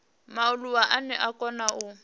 mualuwa ane a kona u